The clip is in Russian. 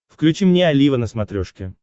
включи мне олива на смотрешке